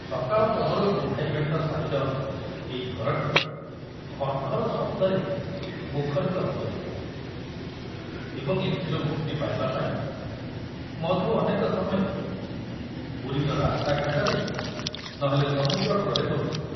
ସକାଳପହରୁ କୁଣ୍ଢାଇବେଣ୍ଟ ସାହିର ଏଇ ଘରଟି ଘର୍ଘର ଶବ୍ଦରେ ମୁଖରିତ ହୋଇଯାଉଥିଲା ଏବଂ ଏଥିରୁ ମୁକ୍ତି ପାଇବା ପାଇଁ ମଧୁ ଅନେକ ସମୟରେ ପୁରୀର ରାସ୍ତାଘାଟରେ ନ ହେଲେ ସମୁଦ୍ର କୂଳରେ ବୁଲୁଥିଲା।